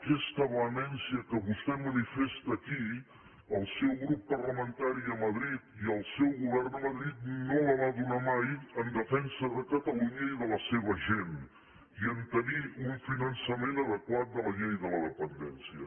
aquesta vehemència que vostè manifesta aquí el seu grup parlamentari a madrid i el seu govern a madrid no la van donar mai en defensa de catalunya i de la seva gent i a tenir un finançament adequat de la llei de la dependència